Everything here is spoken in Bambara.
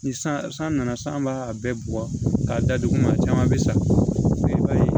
Ni san nana san b'a bɛɛ bugɔ k'a da dugu ma a caman bɛ sa i b'a ye